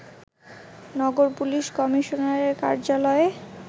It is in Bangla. নগর পুলিশ কমিশনারের কার্যালয়ে